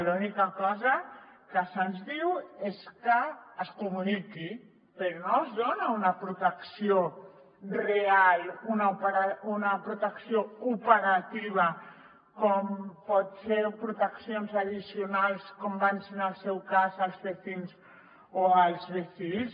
l’única cosa que se’ns diu és que es comuniqui però no es dona una protecció real una protecció operativa com poden ser proteccions addicionals com van ser en el seu cas als bcins o als bcils